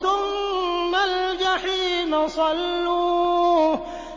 ثُمَّ الْجَحِيمَ صَلُّوهُ